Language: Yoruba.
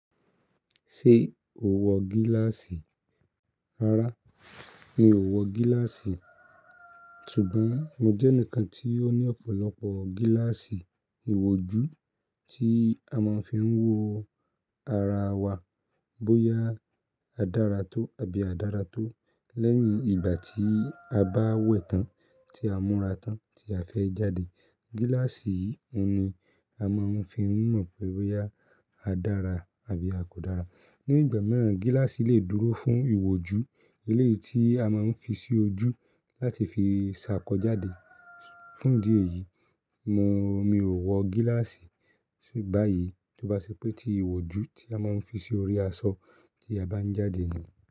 Ṣé o wọ gíláàsì? Rárá, mi ò wọ gíláàsì. Ṣùgbọ́n mo jẹ́ ẹnìkan tí ó ní ọ̀pọ̀lọpọ̀ gíláàsì ìwò ju tí a máa ń fi ń wo ara wa bóyá a dára tó àbí a dára tó. Lẹ́yìn ìgbà tí a bá wẹ̀ tán tí a múra tán tí a fẹ́ jáde, gíláàsì yìí ni a máa ń fi mọ̀ pé bóyá a dára àbí a kò dára. Ni ìgbà mìíràn, gíláàsì le dúró fún ìwò ju eléyìí tí a máa ń fi sí ojú láti fi ṣàkọjáde. Fún ìdí èyí, mo, mi ò wọ gíláàsì báyìí tó bá ṣe pé tí ìwò ju tí a máa ń fi sí orí aṣọ tí a bá ń jáde ni.